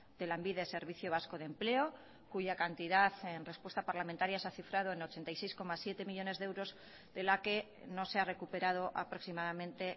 de lanbide servicio vasco de empleo cuya cantidad en respuesta parlamentaria se ha cifrado en ochenta y seis coma siete millónes de euros de la que no se ha recuperado aproximadamente